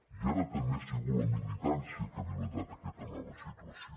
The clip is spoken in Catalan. i ara també ha sigut la militància que ha validat aquesta nova situació